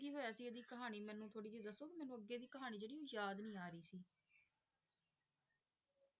ਕੀ ਹੋਇਆ ਸੀ ਇਹਦੀ ਕਹਾਣੀ ਮੈਨੂੰ ਥੋੜੀ ਜਿਹੀ ਦੱਸੋਗੇ? ਮੈਨੂੰ ਅੱਗੇ ਦੀ ਕਹਾਣੀ ਜਿਹੜੀ ਉਹ ਯਾਦ ਨਹੀਂ ਆ ਰਹੀ ਸੀ